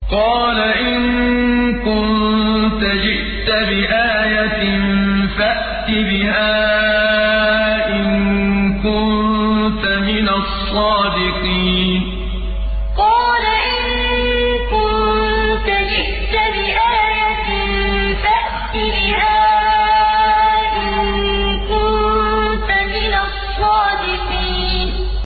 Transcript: قَالَ إِن كُنتَ جِئْتَ بِآيَةٍ فَأْتِ بِهَا إِن كُنتَ مِنَ الصَّادِقِينَ قَالَ إِن كُنتَ جِئْتَ بِآيَةٍ فَأْتِ بِهَا إِن كُنتَ مِنَ الصَّادِقِينَ